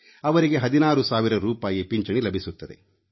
ಅವರಿಗೆ 16 ಸಾವಿರ ರೂಪಾಯಿ ಪಿಂಚಣಿ ಲಭಿಸುತ್ತದೆ